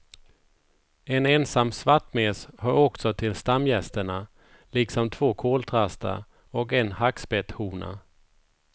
En ensam svartmes hör också till stamgästerna liksom två koltrastar och en hackspetthona.